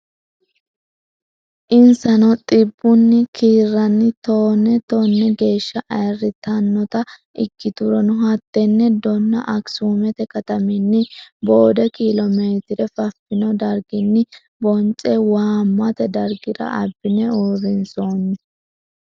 Insano xibbunni kiirranni toone tone geeshsha ayirritannota ikkiturono hattenne donna Akisumete kataminni boode kiilomeetire fafino darginni bonce waammate dargira abbine uurrinsoonni.